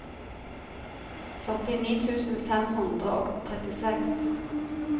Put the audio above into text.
førtini tusen fem hundre og trettiseks